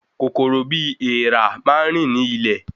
Kòkòrò bi èèrà máa n rin ni ilẹ̀